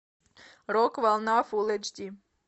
рок волна фулл эйч ди